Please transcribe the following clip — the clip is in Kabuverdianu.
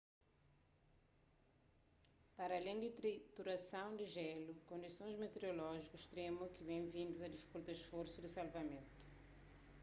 paralén di triturason di jelu kondisons meteorolójiku stremu ki ten vindu a difikulta sforsu di salvamentu